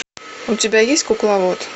у тебя есть кукловод